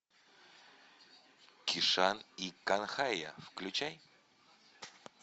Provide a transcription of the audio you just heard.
кишан и канхайя включай